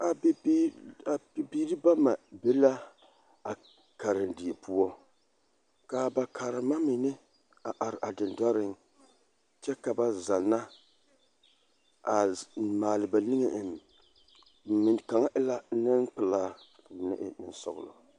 A bibiiri a bibiiri bama be la a karendie poɔ k,a ba karema mine a are a dendɔreŋ kyɛ ka ba zanna a maale ba niŋe eŋ kaŋa e la nempelaa ka ba mine e nensɔglɔ.